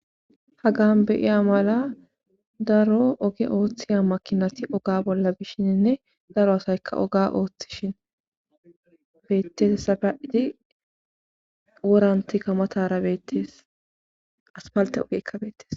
hagan beyiya mala daro oge ooththiya makinati oga bolla bishinne daro asaykka oga ooththishe beettes. Hagati wora kamatara inta matara beettees. aspalte ogeyikka beettes.